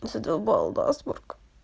задолбал насморк